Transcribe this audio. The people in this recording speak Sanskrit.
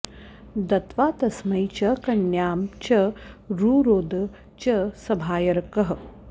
दत्वा तस्मै च कन्यां च रुरोद च सभार्यकः